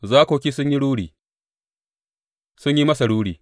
Zakoki sun yi ruri; sun yi masa ruri.